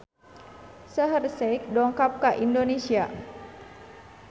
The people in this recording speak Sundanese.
Shaheer Sheikh dongkap ka Indonesia